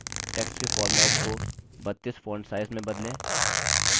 text के format को 32 font size में बदलें